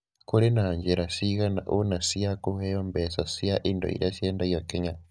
Kũrĩ na njĩra cigana ũna cia kũheo mbeca cia indo iria ciendagio Kenya.